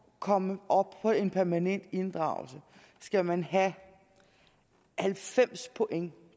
komme op på en permanent inddragelse skal man have halvfems point